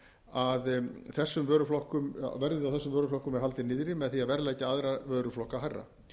að verðinu á þessum vöruflokkum er haldið niðri með því að verðleggja aðra vöruflokka hærra